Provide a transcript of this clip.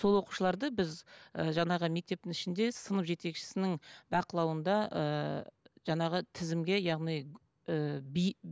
сол оқушыларды біз і жаңағы мектептің ішінде сынып жетекшісінің бақылауында ыыы жаңағы тізімге яғни ыыы